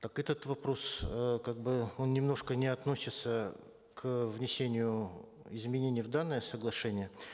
так этот вопрос э как бы он немножко не относится к внесению изменений в данное соглашение